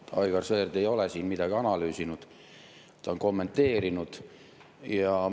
Aivar Sõerd ei ole siin midagi analüüsinud, ta on kommenteerinud.